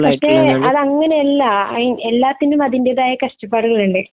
പക്ഷെ അത് അങ്ങനെ അല്ല അയ് എല്ലാത്തിനും അതിന്റെതായ കഷ്ടപ്പാടുകൾ ഉണ്ട്